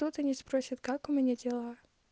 кто то не спросит как у меня дела